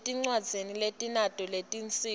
etindzaweni letinato letinsita